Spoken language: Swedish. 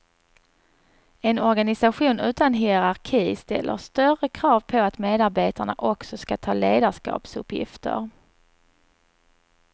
En organisation utan hierarki ställer större krav på att medabetarna också ska ta ledarskapsuppgifter.